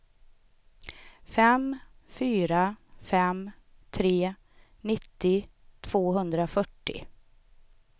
fem fyra fem tre nittio tvåhundrafyrtio